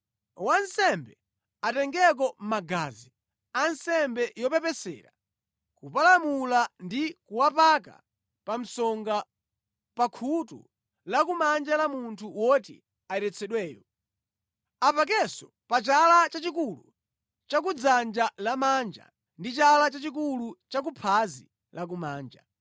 Wansembe atengeko magazi a nsembe yopepesera kupalamula ndi kuwapaka pa msonga pa khutu lakumanja la munthu woti ayeretsedweyo. Apakenso pa chala chachikulu cha ku dzanja lamanja, ndi chala chachikulu cha ku phazi lakumanja.